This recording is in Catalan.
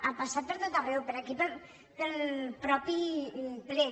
ha passat per tot arreu per aquí pel mateix ple